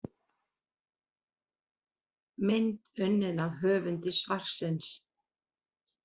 Mynd unnin af höfundi svarsins.